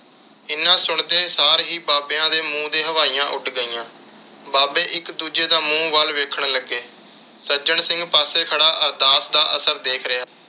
ਇੰਨੇ ਸੁਣਦੇ ਸਾਰ ਹੀ ਬਾਬਿਆਂ ਤੇ ਮੂੰਹ ਦੀਆਂ ਹਵਾਈਆਂ ਉੱਡ ਗਈਆਂ। ਬਾਬੇ ਇਕ ਦੂਜੇ ਦਾ ਮੂੰਹ ਵੱਲ ਵੇਖਣ ਲੱਗੇ। ਸੱਜਣ ਸਿੰਘ ਪਾਸੇ ਖੜਾ ਅਰਦਾਸ ਦਾ ਅਸਰ ਦੇਖ ਰਿਹਾ।